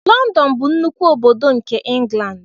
London bụ nnukwu obodo nke England.